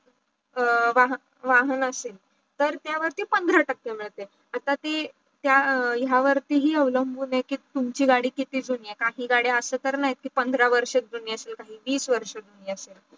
वाहन असेल तर त्या वरती पांढरा टाके मिडते आता ते त्या या वरती हे अवलंभून आहे की तुमची गाडी किती जुनी आहे काही गाड्या अस कराय की पांढरा वर्ष जुन्या जुनी आहे की तीस वर्ष जुनी आहे